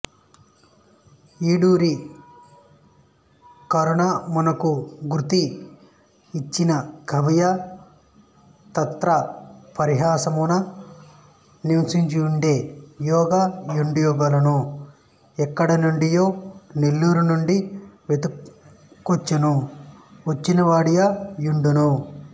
ఈడూరి కరణమునకు గృతి యిచ్చినకవియు తద్గ్రామపరిసరమున నివసించువాడే యై యుండవలెనుగాని యెక్కడనుండియో నెల్లూరినుండి వెదకుకొనుచు వచ్చినవాడయి యుండడు